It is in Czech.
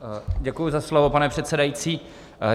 Děkuji za slovo, pane předsedající.